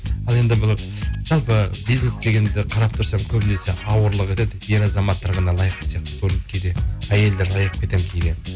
ал енді бұл жалпы бизнес дегенді қарап тұрсаң көбінесе ауырлық етеді ер азаматтар ғана лайық сияқты көрінеді кейде әйелдерді аяп кетемін кейде